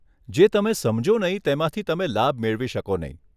જે તમે સમજો નહીં, તેમાંથી તમે લાભ મેળવી શકો નહીં.